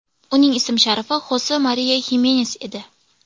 Uning ism-sharifi Xose Mariya Himenes edi.